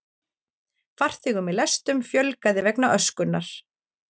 Farþegum í lestum fjölgaði vegna öskunnar